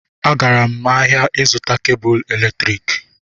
Agara m ahịa ịzụta kebụ eletriki